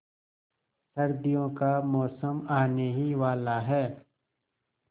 सर्दियों का मौसम आने ही वाला है